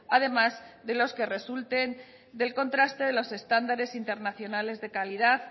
además de los que resulten del contraste de los entandares internacionales de calidad